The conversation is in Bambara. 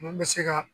Mun bɛ se ka